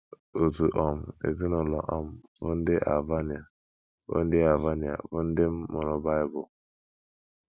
Otu um ezinụlọ um bụ́ ndị Albania bụ́ ndị Albania bụ́ ndị m mụụrụ Bible.